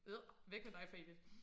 Adr væk med dig for evigt